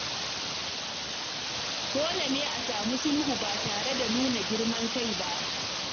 Dole ne a nemi sulhu ba tare da nuna girman kai ba.